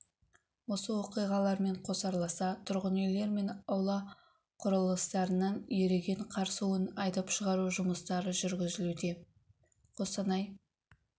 осы оқиғалармен қосарласа тұрғын үйлер мен аула құрылыстарынан еріген қар суын айдап шығару жұмыстары жүргізілуде қостанай